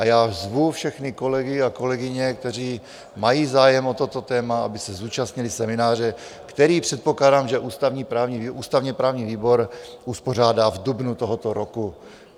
A já zvu všechny kolegy a kolegyně, kteří mají zájem o toto téma, aby se zúčastnili semináře, který, předpokládám, že ústavně-právní výbor uspořádá v dubnu tohoto roku.